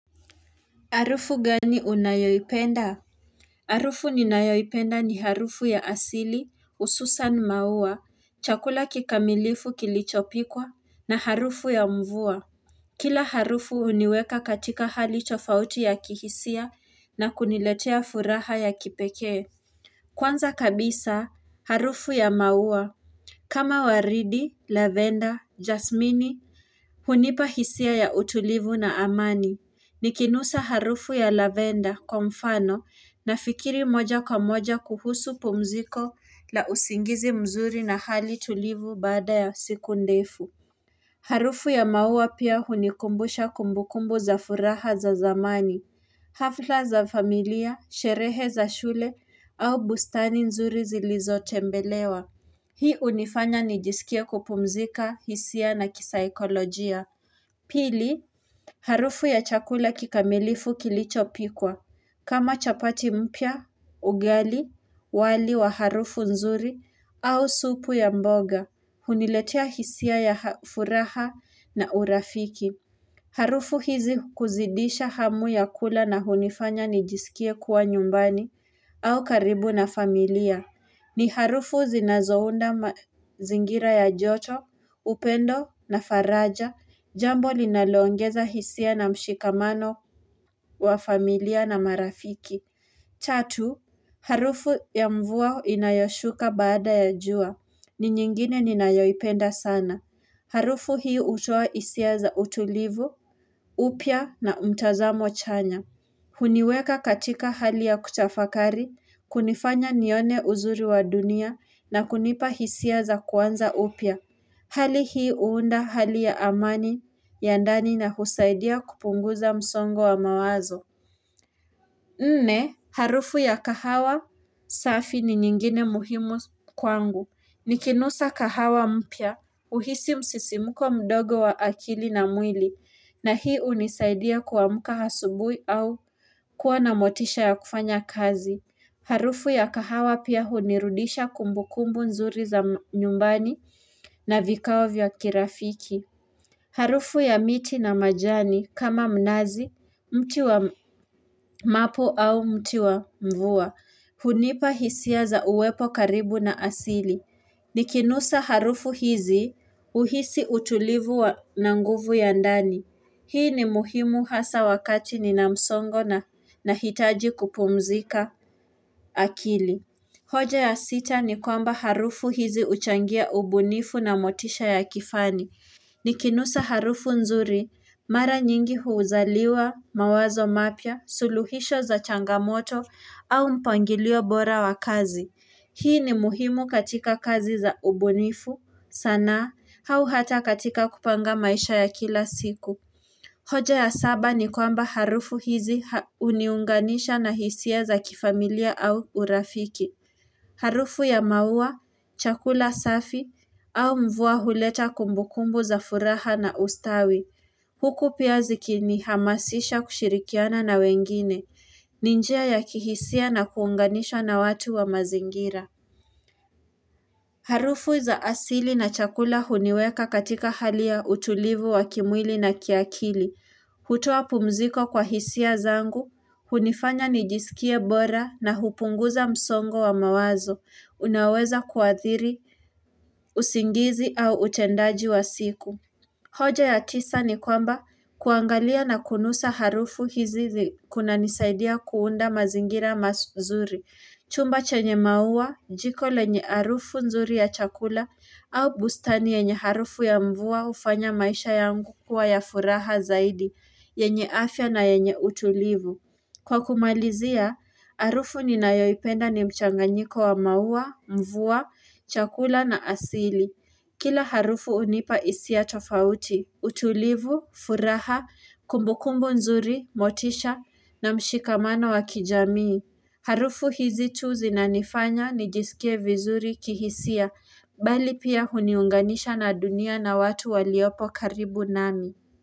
Harufu gani unayoyipenda? Harufu ninayoipenda ni harufu ya asili, ususan maua, chakula kikamilifu kilichopikwa, na harufu ya mvua. Kila harufu uniweka katika hali tofauti ya kihisia na kuniletea furaha ya kipekee. Kwanza kabisa, harufu ya maua. Kama waridi, lavender, jasmini, hunipahisia ya utulivu na amani. Nikinusa harufu ya lavender kwa mfano nafikiri moja kwa moja kuhusu pumziko la usingizi mzuri na hali tulivu bada ya siku ndefu Harufu ya maua pia hunikumbusha kumbukumbu za furaha za zamani hafla za familia, sherehe za shule au bustani nzuri zilizotembelewa Hii unifanya nijisikie kupumzika, hisia na kisaikolojia Pili, harufu ya chakula kikamilifu kilichopikwa. Kama chapati mpya, ugali, wali wa harufu nzuri au supu ya mboga. Huniletia hisia ya furaha na urafiki. Harufu hizi kuzidisha hamu ya kula na hunifanya nijisikie kuwa nyumbani au karibu na familia. Ni harufu zinazohunda zingira ya joto, upendo na faraja, jambo linalongeza hisia na mshikamano wa familia na marafiki. Tatu, harufu ya mvua inayoshuka baada ya jua. Ni nyingine ni nayoipenda sana. Harufu hii hutoa hisia za utulivu, upya na mtazamo chanya. Huniweka katika hali ya kutafakari, kunifanya nione uzuri wa dunia na kunipa hisia za kuanza upya. Hali hii uunda hali ya amani ya ndani na husaidia kupunguza msongo wa mawazo. Nne, harufu ya kahawa safi ni nyingine muhimu kwangu. Nikinusa kahawa mpya, uhisi msisimuko mdogo wa akili na mwili, na hii unisaidia kuamka asubuhi au kuwa na motisha ya kufanya kazi. Harufu ya kahawa pia hunirudisha kumbukumbu nzuri za nyumbani na vikao vya kirafiki. Harufu ya miti na majani kama mnazi, mti wa mapo au mti wa mvua, hunipa hisia za uwepo karibu na asili. Nikinusa harufu hizi uhisi utulivu wa na nguvu ya ndani. Hii ni muhimu hasa wakati nina msongo na hitaji kupumzika akili. Hoja ya sita ni kwamba harufu hizi uchangia ubunifu na motisha ya kifani. Ni kinusa harufu nzuri, mara nyingi huuzaliwa, mawazo mapya, suluhisho za changamoto, au mpangilio bora wa kazi. Hii ni muhimu katika kazi za ubunifu, sanaa, hau hata katika kupanga maisha ya kila siku. Hoja ya saba ni kwamba harufu hizi huniunganisha na hisia za kifamilia au urafiki. Harufu ya maua, chakula safi, au mvua huleta kumbukumbu za furaha na ustawi. Huku pia zikini hamasisha kushirikiana na wengine, ni njia ya kihisia na kuunganishwa na watu wa mazingira. Harufu za asili na chakula huniweka katika hali ya utulivu wa kimwili na kiakili. Hutuo pumziko kwa hisia zangu, hunifanya nijisikie bora na hupunguza msongo wa mawazo. Unaweza kuadhiri, usingizi au utendaji wa siku hoja ya tisa ni kwamba kuangalia na kunusa harufu hizi kuna nisaidia kuunda mazingira mazuri Chumba chenye maua, jiko lenye harufu nzuri ya chakula au bustani yenye harufu ya mvua ufanya maisha yangu kwa ya furaha zaidi yenye afya na yenye utulivu. Kwa kumalizia, harufu ni nayoipenda ni mchanganyiko wa maua, mvua, chakula na asili. Kila harufu unipa isia tofauti. Utulivu, furaha, kumbukumbu nzuri, motisha na mshikamana wa kijamii. Harufu hizi tu zinanifanya nijisikie vizuri kihisia, bali pia uniunganisha na dunia na watu waliopo karibu nami.